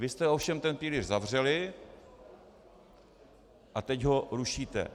Vy jste ovšem ten pilíř zavřeli a teď ho rušíte.